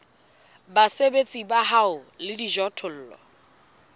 basebeletsi ba hao le dijothollo